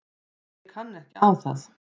Ég kann ekki á það.